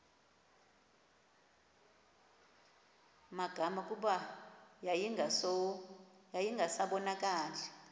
magama kuba yayingasabonakali